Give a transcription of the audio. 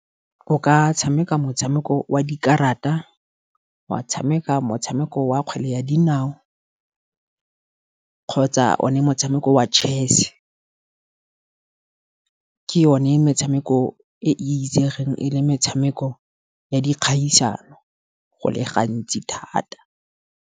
O ka tshameka motshameko wa dikarata, wa tshameka motshameko wa kgwele ya dinao, kgotsa o ne motshameko wa chess. Ke yone metshameko e e itsegeng e le metshameko ya dikgaisano go le gantsi thata.